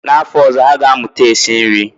N'afọ ọzọ, ha ga-amụta esi nri